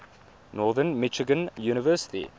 northern michigan university